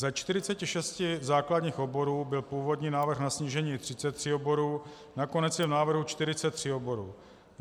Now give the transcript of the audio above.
Ze 46 základních oborů byl původní návrh na snížení 33 oborů, nakonec je v návrhu 43 oborů.